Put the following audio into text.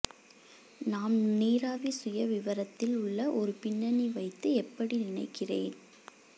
நாம் நீராவி சுயவிவரத்தில் உள்ள ஒரு பின்னணி வைத்து எப்படி நினைக்கிறேன்